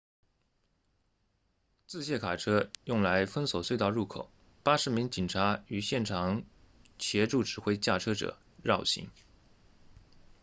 自卸卡车用来封锁隧道入口80名警察于现场协助指挥驾车者绕行